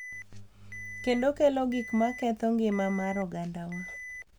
Kendo kelo gik ma ketho ngima mar ogandawa.